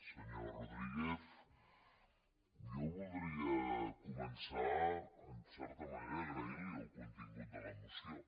senyor rodríguez jo voldria començar en certa manera agraint li el contingut de la moció